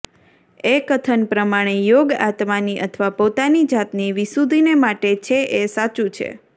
એ કથન પ્રમાણે યોગ આત્માની અથવા પોતાની જાતની વિશુદ્ધિને માટે છે એ સાચું છે